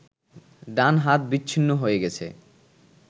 ডান হাত বিচ্ছ্ন্নি হয়ে গেছে